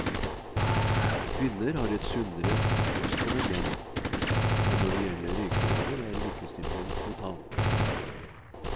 Kvinner har et sunnere kosthold enn menn, men når det gjelder røykevaner er likestillingen total.